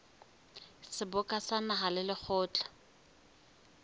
seboka sa naha le lekgotla